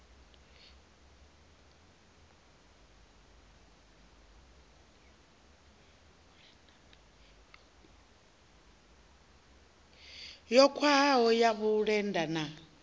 yo khwahaho ya vhulenda na